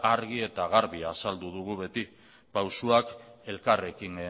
argi eta garbi azaldu dugu beti pausuak elkarrekin